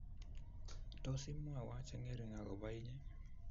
Tos, imwowo chengering agoba inye?